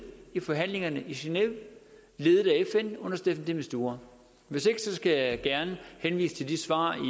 i forhandlingerne i genève ledet af fn under staffan de mistura hvis ikke skal jeg gerne henvise til de svar